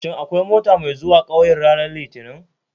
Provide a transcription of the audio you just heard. Shin akwai mota mai zuwa 'kauyen ranar litinin?